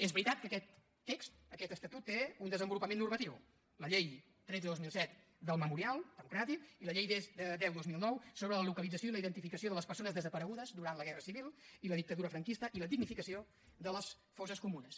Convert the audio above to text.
és veritat que aquest text aquest estatut té un desenvolupament normatiu la llei tretze dos mil set del memorial democràtic i la llei deu dos mil nou sobre la localització i la identificació de les persones desaparegudes durant la guerra civil i la dictadura franquista i la dignificació de les fosses comunes